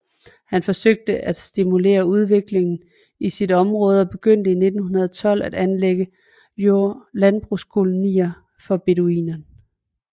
Han forsøgte at stimulere udviklingen i sit område og begyndte i 1912 at anlægge landbrugskolonier for beduinerne